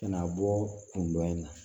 Na bɔ kun dɔ in na